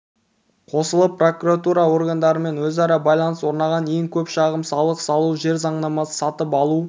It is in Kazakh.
қосылып прокуратура органдарымен өзара байланыс орнаған ең көп шағым салық салу жер заңнамасы сатып алу